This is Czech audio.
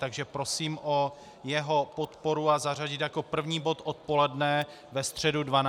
Takže prosím o jeho podporu a zařadit jako první bod odpoledne ve středu 12. dubna.